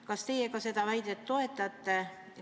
Kas teie jagate seda muret?